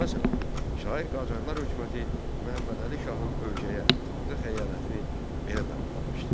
Məsələn, şair Qacarlar hökuməti Məhəmmədəli şahın ölkəyə, xalqa xəyanətini belə damğalamışdı.